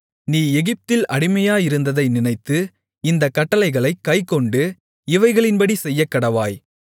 நீ எகிப்தில் அடிமையாயிருந்ததை நினைத்து இந்தக் கட்டளைகளைக் கைக்கொண்டு இவைகளின்படி செய்யக்கடவாய்